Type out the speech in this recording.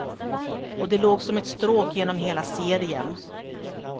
Och det låg som ett stråk genom hela serien.